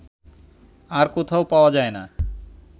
আর কোথাও পাওয়া যায় না